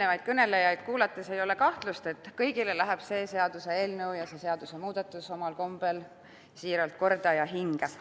Eelmisi kõnelejaid kuulates ei ole kahtlust, et kõigile läheb see seaduseelnõu, see seadusemuudatus tõesti korda ja hinge.